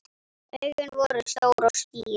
Augun voru stór og skýr.